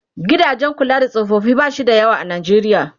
gidajen kula da tsofaffi bashi da yawa a Najeriya